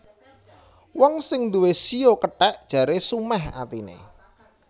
Wong sing nduwé shio kethèk jaré sumèh atiné